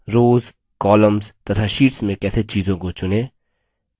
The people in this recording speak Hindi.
रोव्स columns तथा शीट्स में कैसे चीजों को चुनें